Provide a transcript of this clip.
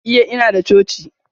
Iya, Inada coci.